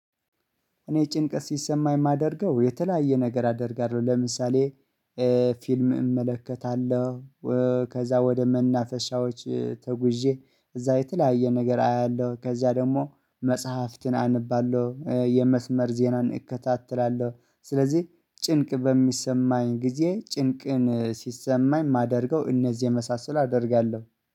እኔ ጭንቀት ሲሰማኝ የማደርገው የተለያየ ነገር አደርጋለሁ። ለምሳሌ ፊልም እመለከታለሁ ከዛ ወደ መናፈሻዎች ተጉዤ እዛ የተለያየ ነገር አያለሁ ከዛ ደግሞ መጽሐፍትን አነባለሁ የመስመር ዜናን እከታተላለሁ። ስለዚህ ጭንቅ በሚሰማኝ ጊዜ ጭንቅን ሲሰማኝ ማደርገው እነዚህ የመሳሰል አደርጋለሁ